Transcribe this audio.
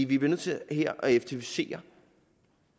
vi bliver nødt til her at effektivisere